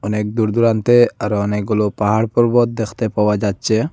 অনেক দূর দূরান্তে আরও অনেকগুলো পাহাড় পর্বত দেখতে পাওয়া যাচ্ছে।